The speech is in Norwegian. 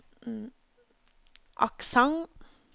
aksent